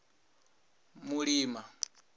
mulima